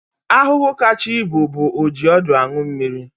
Ahụhụ kacha ibu bụ ojiọdụaṅụmmiri